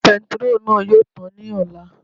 Bentiróòlù náà yóò tàn ní ọ̀la